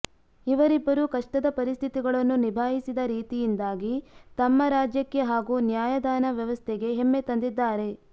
ಇವರಿಬ್ಬರು ಕಷ್ಟದ ಪರಿಸ್ಥಿತಿಗಳನ್ನು ನಿಭಾಯಿಸಿದ ರೀತಿಯಿಂದಾಗಿ ತಮ್ಮ ರಾಜ್ಯಕ್ಕೆ ಹಾಗೂ ನ್ಯಾಯದಾನ ವ್ಯವಸ್ಥೆಗೆ ಹೆಮ್ಮೆ ತಂದಿದ್ದಾರೆ